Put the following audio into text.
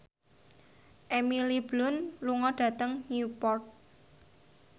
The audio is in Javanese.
Emily Blunt lunga dhateng Newport